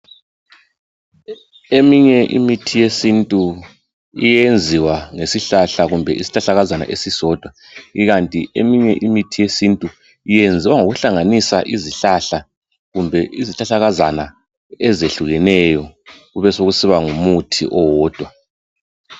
Eminye imithi yesintu iyenziwa ngesihlahla kumbe isihlahlakazana esisodwa ikanti eminye imithi yesintu iyenziwa ngokuhlanganisa izihlahla kumbe izihlahlakazana ezehlukeneyo kube sokusiba ngumuthi owodwa.